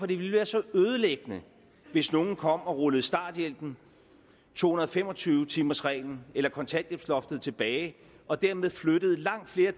det ville være så ødelæggende hvis nogen kom og rullede starthjælpen to hundrede og fem og tyve timers reglen eller kontanthjælpsloftet tilbage og dermed flyttede langt flere